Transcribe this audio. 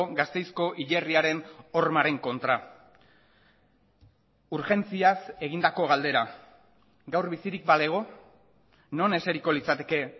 gasteizko hilerriaren hormaren kontra urgentziaz egindako galdera gaur bizirik balego non eseriko litzateke